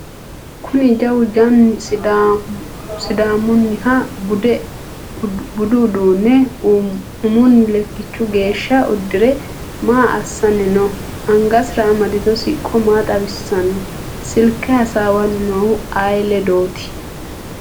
kuni jawu janni sidaamunniha budu uduunne umunni lekkichu geeshsha uddire maa assanni no? angasira amadino siqqo maa xawissanno? silke hasaawanni noohu ayee ledooti?